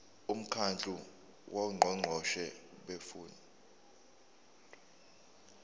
umkhandlu wongqongqoshe bemfundo